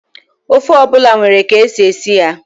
Ofe ọ bụla nwere ka e si esi ya.